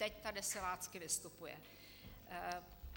Teď tady silácky vystupuje.